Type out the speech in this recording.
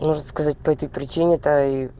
может сказать по этой причине